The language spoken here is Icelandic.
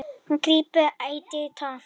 Hún grípur ætíð í tómt.